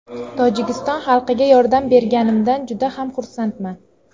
Tojikiston xalqiga yordam berganimdan juda ham xursandman.